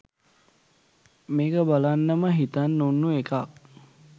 මේක බලන්නම හිතන් උන්නු එකක්.